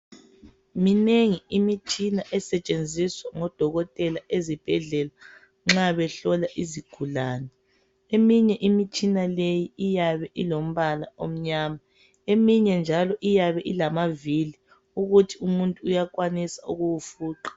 Minengi imitshina esetshenziswa ngodokotela ezibhedlela nxa behlola izigulane. Eminye imitshina leyi iyabe ilombala omnyama, eminye njalo iyabe ilamavili ukuthi umuntu uyakwanisa ukuwufuqa.